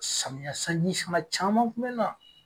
Samiya sanji sama caman kun bɛ na.